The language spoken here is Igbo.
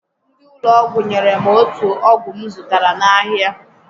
Ndị ụlọ ọgwụ nyèrè m otù ọgwụ m zụtara n'ahịa